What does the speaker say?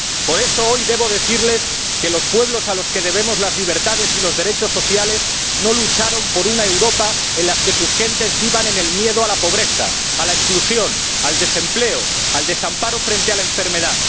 Por eso hoy debo decirles que los pueblos a los que debemos las libertades y los derechos sociales no lucharon por una Europa en la que sus gentes vivan en el miedo a la pobreza, a la exclusión, al desempleo, al desamparo frente a la enfermedad.